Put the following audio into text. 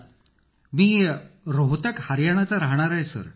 अखिल मी रोहतक हरियाणा चा राहणारा आहे सर